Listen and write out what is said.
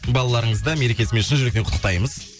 балаларыңызды мерекесімен шын жүректен құттықтаймыз